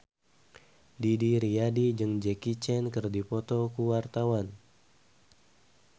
Didi Riyadi jeung Jackie Chan keur dipoto ku wartawan